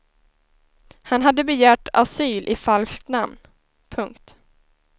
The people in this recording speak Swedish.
Han hade begärt asyl i falskt namn. punkt